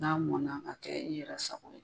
N'a mɔna ka kɛ i yɛrɛ sago ye